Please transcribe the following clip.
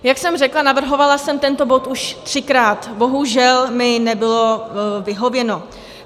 Jak jsem řekla, navrhovala jsem tento bod už třikrát, bohužel mi nebylo vyhověno.